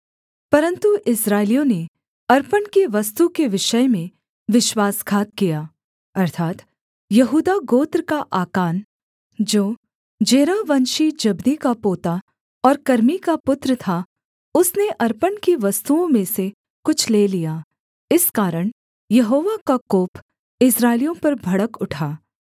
परन्तु इस्राएलियों ने अर्पण की वस्तु के विषय में विश्वासघात किया अर्थात् यहूदा गोत्र का आकान जो जेरहवंशी जब्दी का पोता और कर्मी का पुत्र था उसने अर्पण की वस्तुओं में से कुछ ले लिया इस कारण यहोवा का कोप इस्राएलियों पर भड़क उठा